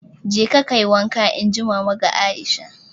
"Jeka kayi wanka!" Inji Mama ga Aisha